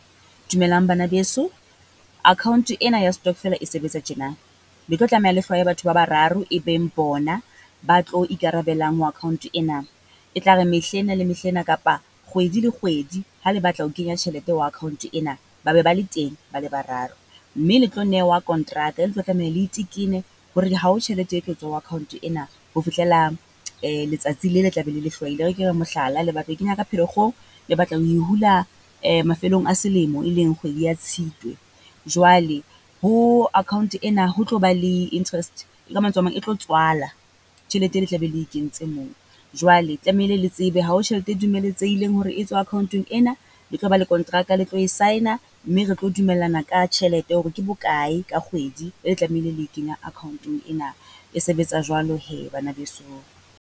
Dumelang bana beso, account ena ya stockvela e sebetsa tjena, le tlo tlameha le hlwaye batho ba bararo e beng bona ba tlo ikarabelang mo account ena. E tla re mehla ena le mehla ena kapa kgwedi le kgwedi ha le batla ho kenya tjhelete ho account ena, ba be ba le teng ba le bararo, mme le tlo newa kontraka e le tlo tlameha le itekene hore hao tjhelete e tlo tswa ho account ena ho fihlela letsatsi le le tla be le le hlwaile. E re ke re mohlala, le batla ho e kenya Pherekgong, le batla ho e hula mafelong a selemo e leng kgwedi ya Tshitwe. Jwale ho account ena ho tlo ba le interest, ka mantswe a mang e tlo tswala tjhelete e le tla be le e kentse moo. Jwale tlamehile le tsebe hao tjhelete e dumeletsehileng hore e tswe account-eng ena, le tlo ba le kontraka le tlo e sign-a, mme re tlo dumellana ka tjhelete hore ke bokae ka kgwedi e le tlamehile le e kenya account-ong ena. E sebetsa jwalo hee bana besong.